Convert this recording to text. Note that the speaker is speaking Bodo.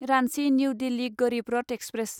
Ranchi New Delhi Garib Rath express